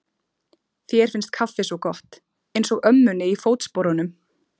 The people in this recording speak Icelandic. Þér finnst kaffi svo gott, einsog ömmunni í Fótsporunum.